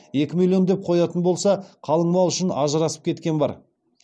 екі миллион деп қоятын болса қалың мал үшін ажырасып кеткен бар